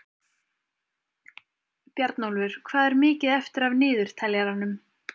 Bjarnólfur, hvað er mikið eftir af niðurteljaranum?